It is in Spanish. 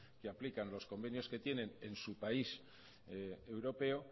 que aplican los convenios que tienen en su país europeo